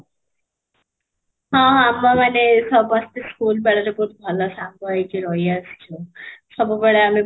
ହଁ, ହଁ ଆମେ ମାନେ ସମସ୍ତେ school ବେଳରୁ ବହୁତ ଭଲ ସାଙ୍ଗ ହେଇକି ରହି ଆସିଛୁ ସବୁ ବେଳେ ଆମେ